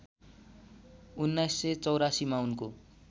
१९८४ मा उनको